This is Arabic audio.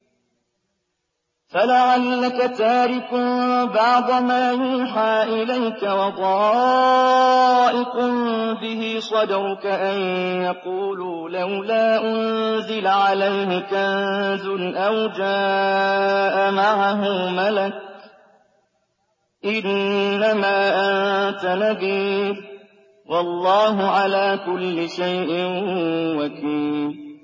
فَلَعَلَّكَ تَارِكٌ بَعْضَ مَا يُوحَىٰ إِلَيْكَ وَضَائِقٌ بِهِ صَدْرُكَ أَن يَقُولُوا لَوْلَا أُنزِلَ عَلَيْهِ كَنزٌ أَوْ جَاءَ مَعَهُ مَلَكٌ ۚ إِنَّمَا أَنتَ نَذِيرٌ ۚ وَاللَّهُ عَلَىٰ كُلِّ شَيْءٍ وَكِيلٌ